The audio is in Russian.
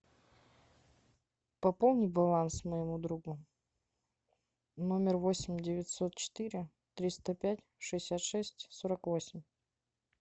пополни баланс моему другу номер восемь девятьсот четыре триста пять шестьдесят шесть сорок восемь